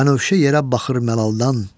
Bənövşə yerə baxır məlaldan.